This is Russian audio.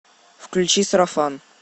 включи сарафан